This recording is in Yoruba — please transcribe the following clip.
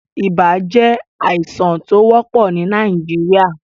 Ibà jẹ́ àìsàn tó wọ́pò ni Nàìjíríà.